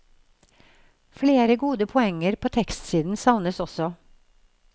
Flere gode poenger på tekstsiden savnes også.